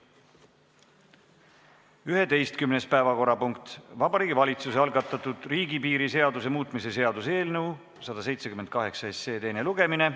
Tänane 11. päevakorrapunkt on riigipiiri seaduse muutmise seaduse eelnõu 178 teine lugemine.